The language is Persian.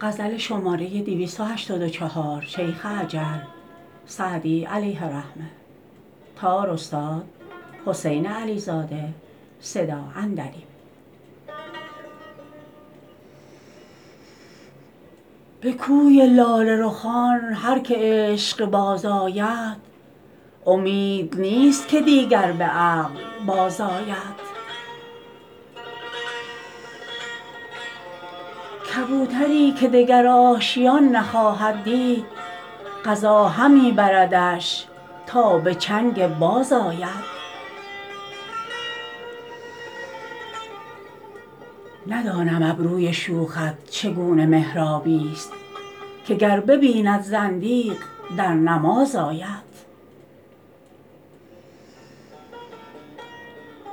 به کوی لاله رخان هر که عشق باز آید امید نیست که دیگر به عقل بازآید کبوتری که دگر آشیان نخواهد دید قضا همی بردش تا به چنگ باز آید ندانم ابروی شوخت چگونه محرابی ست که گر ببیند زندیق در نماز آید